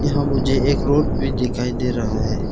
यहां मुझे एक रोड भी दिखाई दे रहा है।